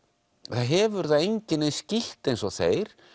það hefur það enginn eins skítt eins og þeir